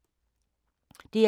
DR2